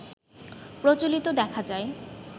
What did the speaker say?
প্রচলিত দেখা যায়